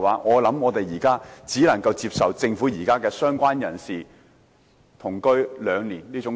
我想我們現在只能接受政府提出"相關人士"的定義是同居最少兩年的建議。